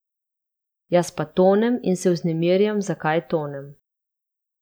Jaz pa tonem in se vznemirjam, zakaj tonem.